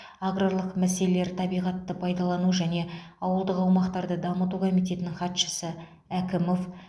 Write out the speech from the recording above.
аграрлық мәселелер табиғатты пайдалану және ауылдық аумақтарды дамыту комитетінің хатшысы әкімов